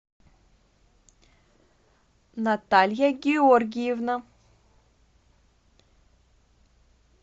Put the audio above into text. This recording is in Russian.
наталья георгиевна